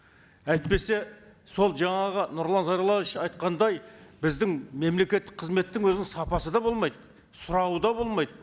әйтпесе сол жаңағы нұрлан зайроллаевич айтқандай біздің мемлекеттік қызметтің өзінің сапасы да болмайды сұрауы да болмайды